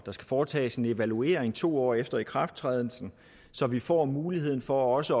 foretages en evaluering to år efter ikrafttrædelsen så vi får mulighed for også